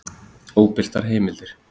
Óbirtar heimildir: